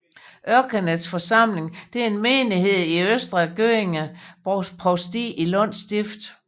Örkeneds församling er en menighed i Östra Göinge provsti i Lunds stift